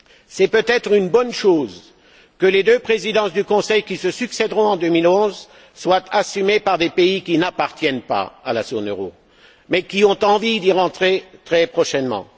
C'est peut être une bonne chose que les deux Présidences du Conseil qui se succéderont en 2011 soient assumées par des pays qui n'appartiennent pas à la zone euro mais qui ont envie d'y entrer très prochainement.